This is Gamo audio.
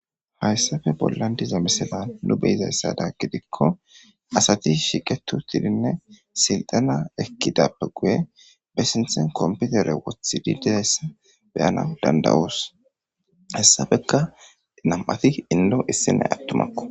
Hayssafe bollan diza meseban nu beyizayssada gidikko asati shiqetu tidinne silxana ekkidappe guye be sinthen komputere wothi didizayssa beyana dandawoos hessafeka nam'ati inlo issinay attumakko.